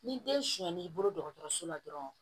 Ni den suɲɛ n'i bolo dɔgɔtɔrɔso la dɔrɔn